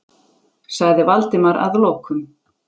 sagði Valdimar að lokum.